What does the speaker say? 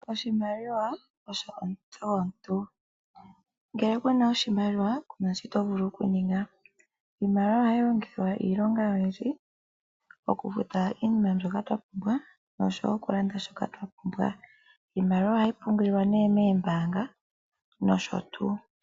Oshimaliwa osho omutse gomuntu ngele ku na oshimaliwa ku na shoka to vulu okuninga iimaliwa ohayi longithwa iilonga oyindji ngaashi okufuta iinima mbyoka twa pumbwa osho wo okulanda shoka twa pumbwa. Iimaliwa ohayi pungulwa moombanga nosho tuu.